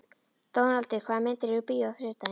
Dónaldur, hvaða myndir eru í bíó á þriðjudaginn?